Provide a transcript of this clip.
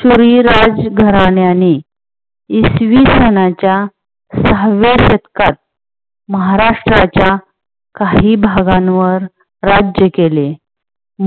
सुरी राजघराण्याने इसवी सनाच्या सहाव्या शतकात महाराष्ट्राच्या काही भागांवर राज्य केले.